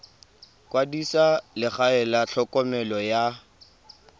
kwadisa legae la tlhokomelo ya